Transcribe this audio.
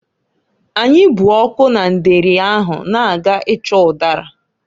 Anyị bụ ọkụ na ndeeri ahụ na-aga ịchọ ụdara.